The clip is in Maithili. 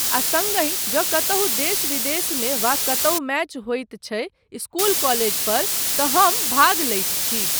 आ सङ्गहि जँ कतहुँ देश विदेशमे वा कतहुँ मैच होइत छै इस्कूल काॅलेज पर तँ हम भाग लैत छी।